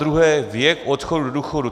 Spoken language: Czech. Zadruhé věk odchodu do důchodu.